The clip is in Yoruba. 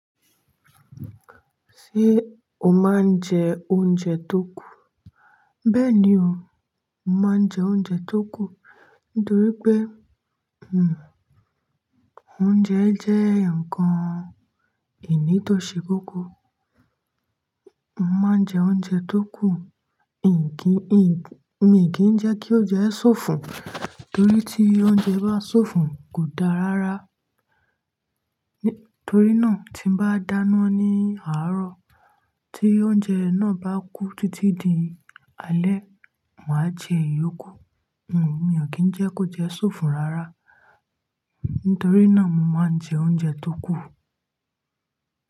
Ṣé o máa ń jẹ oúnjẹ tó kù? Bẹ́ẹ̀ ni o, mo máa ń jẹ oúnjẹ tó kù nítorí pé, oúnjẹ jẹ́ ǹkan ìní tó ṣe kókó. Mo máa ń jẹ oúnjẹ tó kù, nki, ì, mi ò kí ń jẹ́ kí oúnjẹ ṣòfò nítorí tí oúnjẹ bá ṣòfò kò dára rárá. Nítorí náà tí mo bá dáná ní àárọ̀ tí oúnjẹ náà bá kú títí di alẹ́, màá jẹ yòókù. Hhm, mi ò kí ń jẹ́ kó jẹ́ ṣòfò rárá. Nítorí náà mo máa ń jẹ oúnjẹ tó kù.